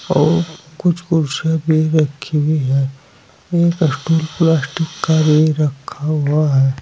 और कुछ कुर्सियां भी रखी हुई हैं। एक स्टूल प्लास्टिक का भी रखा हुआ है।